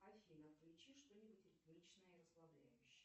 афина включи что нибудь ритмичное и расслабляющее